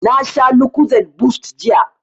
Na sha lucozade boost jiya